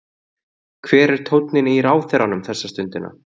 Hver er tónninn í ráðherranum þessa stundina?